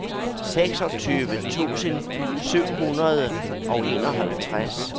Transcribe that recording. seksogtyve tusind syv hundrede og enoghalvtreds